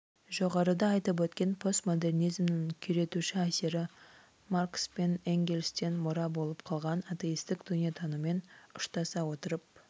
жоғарыда айтып өткен постмодернизмнің күйретуші әсері маркс пен энгельстен мұра болып қалған атеистік дүниетаныммен ұштаса отырып